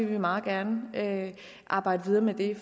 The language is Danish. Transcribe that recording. vi meget gerne arbejde videre med det